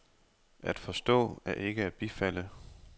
At forstå er ikke at bifalde.